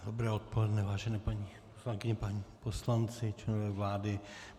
Dobré odpoledne, vážené paní poslankyně, páni poslanci, členové vlády.